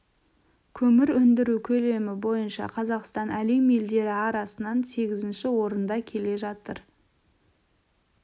көмір өндіру көлемі бойынша қазақстан әлем елдері арасынан сегізінші орында келе жатыр